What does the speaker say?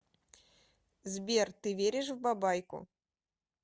сбер ты веришь в бабайку